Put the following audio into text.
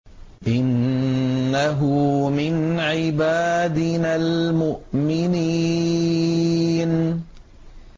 إِنَّهُ مِنْ عِبَادِنَا الْمُؤْمِنِينَ